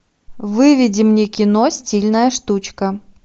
выведи мне кино стильная штучка